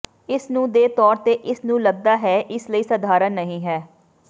ਇਸ ਨੂੰ ਦੇ ਤੌਰ ਤੇ ਇਸ ਨੂੰ ਲੱਗਦਾ ਹੈ ਇਸ ਲਈ ਸਧਾਰਨ ਨਹੀ ਹੈ